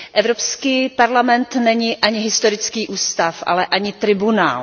Evropský parlament není ani historický ústav, ale ani tribunál.